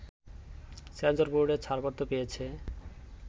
সেন্সরবোর্ডের ছাড়পত্র পেয়েছে